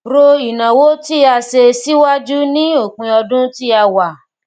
ro ináwó tí a ṣe síwájú ní òpin ọdún tí a wà